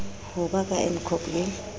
ho ba ka ncop ke